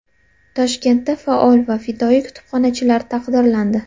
Toshkentda faol va fidoyi kutubxonachilar taqdirlandi.